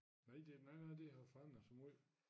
Nej det nej nej det har forandret sig måj